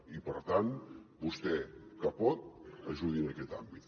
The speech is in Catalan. i per tant vostè que pot ajudi en aquest àmbit